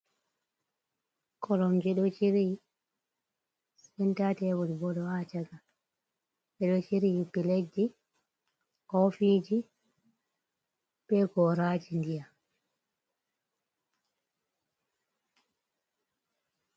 Koromje ɗo chiryi cental tebul ɓo ɗo ha chaka ɓeɗo chiryi platji, kofiji, be goraji ndiyam.